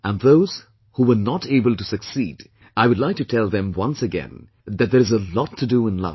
And those who were not able to succeed, I would like to tell them once again that there is a lot to do in life